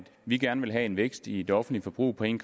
vi gerne ville have en vækst i det offentlige forbrug på en